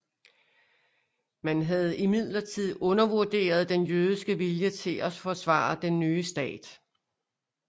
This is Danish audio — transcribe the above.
Man havde imidlertid undervurderet den jødiske vilje til at forsvare den nye stat